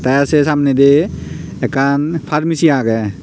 tey seh samne di ekan pharmacy aagey.